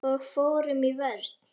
Og fórum í vörn.